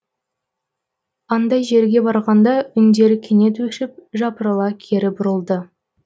андай жерге барғанда үндері кенет өшіп жапырыла кері бұрылды